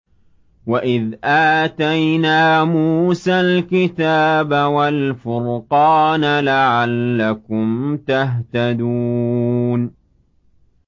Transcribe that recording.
وَإِذْ آتَيْنَا مُوسَى الْكِتَابَ وَالْفُرْقَانَ لَعَلَّكُمْ تَهْتَدُونَ